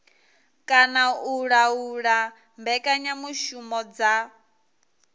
kana u laula mbekanyamushumo dza